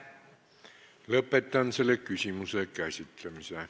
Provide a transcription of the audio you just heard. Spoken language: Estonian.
Lõpetan selle küsimuse käsitlemise.